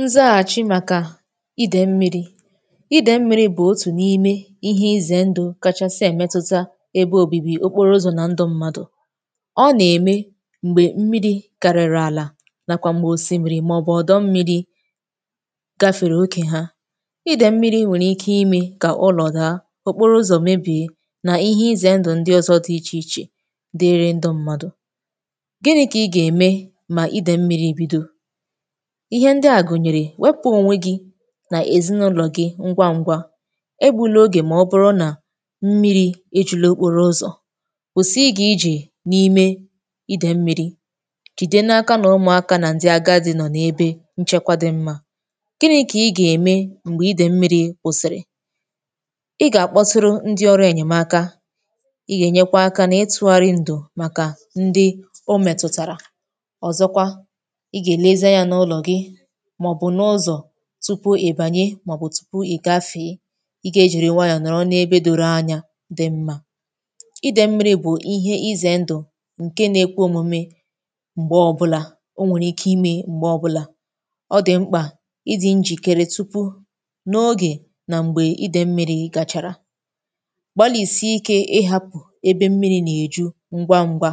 nzọ achị makà idè mmiri idè mmiri bụ̀ otù n’ime ihe izè ndù kachàsị̀ èmetuta ebe òbibi okporo ụzọ̀ na ndụ mmadụ̀ ọ nà-ème m̀gbè mmiri kariri àlà nàkwà m̀gbè osimmiri màọbụ̀ ọdọ mmiri gafèrè okè ha idè mmiri nwèrè ike ime kà ụlọ̀ daa okporo ụzọ̀ mebìe nà ihe izè ndụ̀ ndụ̀ ọzọ dị ichè ichè dịrị ndụ mmadụ̀ gini̇ kà ị gà-ème mà idè mmiri bido ihe ndị à gụnyere wepụ onwe gị nà èzinụlọ̀ gị ngwa ngwa ebu̇la ogè mà ọ bụrụ nà mmiri̇ ejula okporo ụzọ̀ kwụsị ịgà iji̇ n’ime idè mmiri̇ jìde n’aka nà ụmụakȧ nà ndị agadi̇ nọ̀ n’ebe nchekwȧ dị mmȧ gini̇ kà ịgà ème m̀gbè idè mmiri̇ kwụsị̀rị̀ ịgà àkpọtụrụ ndị ọrụ ènyèmaka ịgà ènyekwa akȧ n’ịtụ̇gharị ndụ̀ màkà ndị o mètùtàrà ọzọkwa ịgà èlezie yȧ n’ụlọ̀ gị tupu ị̀bànye màọbụ̀ tupu ị̀ gafè i gȧ-ėjère nwayọ̀ nọ̀rọ̀ n’ebe doro anya dị̇ mmȧ ịdị̇ mmiri̇ bụ̀ ihe izè ndụ̀ ǹke na-ekwe omume m̀gbè ọbụlà o nwèrè ike imė m̀gbè ọbụlà ọ dị̀ mkpà ịdị̇ njìkere tupu n’ogè nà m̀gbè ịdị̇ mmiri̇ gàchàrà gbalìsi ike ịhapụ̀ ebe mmiri̇ nà-èju ngwa ngwa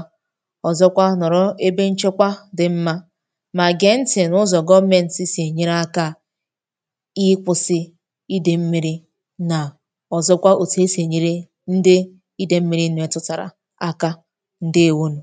ọ̀zọkwa nọ̀rọ ebe nchekwa dị̇ mmȧ ikwụsị ịdị mmiri na ọzọkwa otu esi enyere ndị ịdị mmiri nwetụtara aka ndị ewonù